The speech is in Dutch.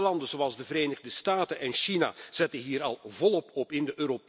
Derde landen zoals de Verenigde Staten en China zetten hier al volop op in.